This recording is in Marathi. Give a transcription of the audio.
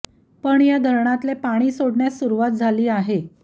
पण या धरणातले पाणी सोडण्यास सुरुवात झाली आहे